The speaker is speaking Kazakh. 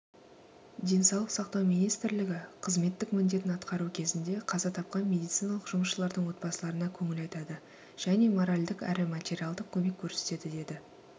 денсаулық сақтау министрлігі қызметтік міндетін атқару кезінде қаза тапқан медициналық жұмысшылардың отбасыларына көңіл айтады және моральдық әрі материалдық көмек көрсетеді деді